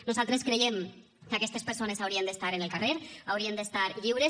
nosaltres creiem que aquestes persones haurien d’estar en el carrer haurien d’estar lliures